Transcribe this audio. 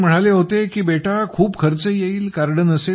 doctor म्हणाले होते की बेटा खूप खर्च येईल